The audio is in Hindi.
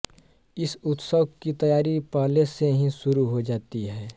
इस उत्सव की तैयारी पहले से ही शुरु हो जाती है